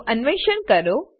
નું અન્વેષણ કરો